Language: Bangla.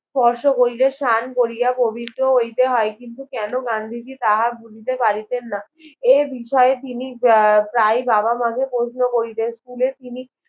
স্পর্শ করিলে স্নান করিয়া প্রবিত্র হইতে হয় কেন গান্ধীজি তাহা বুঝিতে পারিতেন না এর বিষয়ে তিনি প্রায় বাবা মা কে প্রশ্ন করিতে school এ তিনি